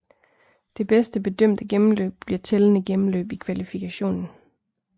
Det bedste bedømte gennemløb bliver tællende gennemløb i kvalifikationen